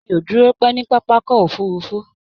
Mi ò dúró pẹ́ ní pápákọ̀ òfurufú